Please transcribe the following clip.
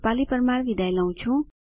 જોડાવા બદ્દલ આભાર